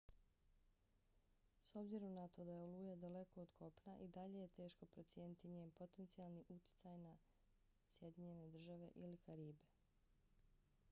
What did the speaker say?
s obzirom na to da je oluja daleko od kopna i dalje je teško procijeniti njen potencijalni utjecaj na sjedinjene države ili karibe